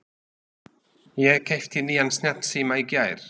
Ég keypti nýjan snjallsíma í gær.